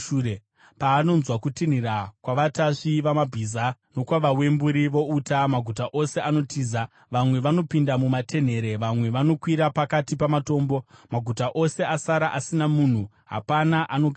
Paanonzwa kutinhira kwavatasvi vamabhiza nokwavawemburi vouta, maguta ose anotiza. Vamwe vanopinda mumatenhere; vamwe vanokwira pakati pamatombo. Maguta ose asara asina munhu; hapana anogaramo.